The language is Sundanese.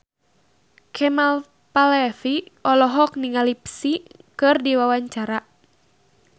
Kemal Palevi olohok ningali Psy keur diwawancara